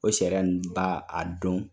O sariya ninnu b'a a don.